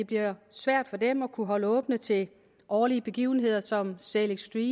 bliver svært for dem at kunne holde åbent til årlige begivenheder som sail extreme